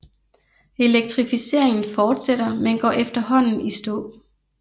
Elektrificeringen fortsætter men går efterhånden i stå